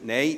– Nein.